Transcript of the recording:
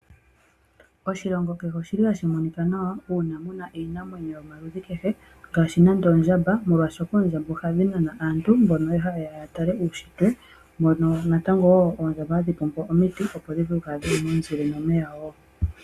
Oshilongo kehe oshili hashi monika nawa una muna iinamwenyo yomaaludhi kehe ngaashi nande ondjamba ,molwashoka oondjamba ohadhi nana aantu mboka haa yeya ya tale uushitwe mono natango wo oondjamba hadhi pombo omiiti opo dhivule okukala dhili momuzile no omeya wo.